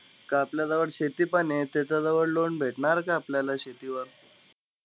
का आपल्याजवळ शेतीपण आहे, त्याच्याजवळ loan भेटणार का आपल्याला शेतीवर?